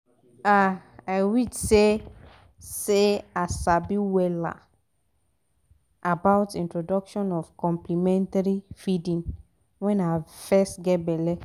ah i wish seh seh i sabi wella about introduction of complementary feeding when i fess geh belle